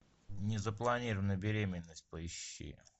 незапланированная беременность поищи